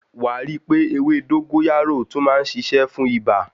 Wàá rí pé ewé dógóyárò tún má ń ṣiṣẹ́ fún ibà.